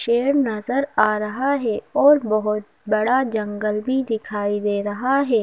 शेर नजर आ रहा है और बहुत बड़ा जंगल भी दिखाई दे रहा है।